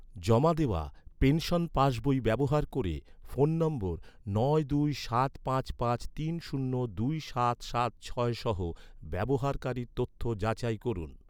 জমা দেওয়া, পেনশন পাসবই ব্যবহার ক’রে, ফোন নম্বর নয় দুই সাত পাঁচ পাঁচ তিন শূন্য দুই সাত সাত ছয় সহ, ব্যবহারকারীর তথ্য যাচাই করুন